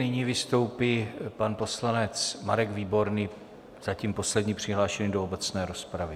Nyní vystoupí pan poslanec Marek Výborný, zatím poslední přihlášený do obecné rozpravy.